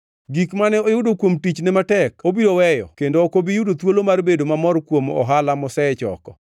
Gik mane oyudo kuom tichne matek obiro weyo kendo ok obi yudo thuolo mar bedo mamor kuom ohala mosechoko.